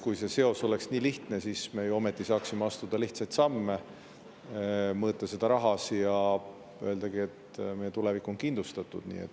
Kui see seos oleks nii lihtne, siis me ju ometi saaksime astuda lihtsaid samme, mõõta seda rahas ja öeldagi, et meie tulevik on kindlustatud.